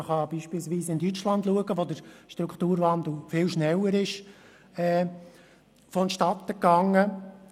Man kann beispielsweise nach Deutschland schauen, wo der Strukturwandel viel schneller vonstattenging.